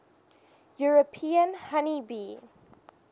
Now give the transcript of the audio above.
european honey bee